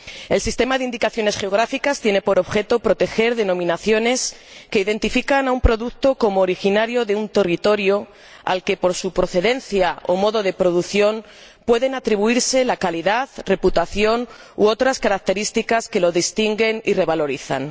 El sistema de indicaciones geográficas tiene por objeto proteger denominaciones que identifican un producto como originario de un territorio al que, por su procedencia o modo de producción, pueden atribuirse la calidad, reputación u otras características que lo distinguen y revalorizan.